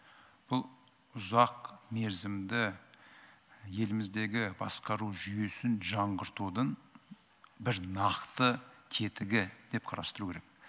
бұл ұзақмерзімді еліміздегі басқару жүйесін жаңғыртудың бір нақты тетігі деп қарастыру керек